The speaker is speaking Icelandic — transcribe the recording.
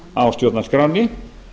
á stjórnarskránni